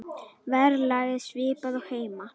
Verðlag er svipað og heima.